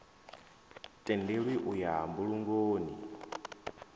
tendelwi u ya mbulungoni n